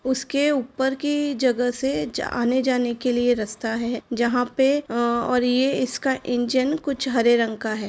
उसके ऊपर की जगह से जा आने जाने के लिए रस्ता है। जहां पे अ और ये इसका इंजन कुछ हरे रंग का है।